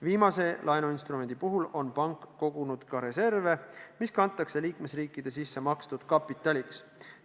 Viimase laenuinstrumendi puhul on pank kogunud ka reserve, mis kantakse liikmesriikide sissemakstud kapitaliks.